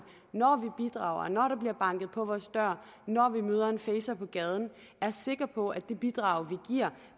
når vi bidrager når der bliver banket på vores dør når vi møder en facer på gaden er sikre på at det bidrag